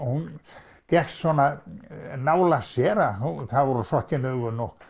hún gekk svona nálægt sér að það voru sokkin augun